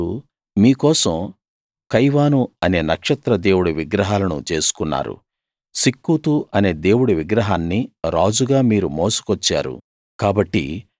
మీరు మీకోసం కైవాను అనే నక్షత్ర దేవుడి విగ్రహాలను చేసుకున్నారు సిక్కూతు అనే దేవుడి విగ్రహాన్ని రాజుగా మీరు మోసుకొచ్చారు